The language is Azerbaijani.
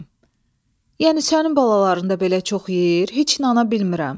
Yəni sənin balaların da belə çox yeyir, heç inana bilmirəm.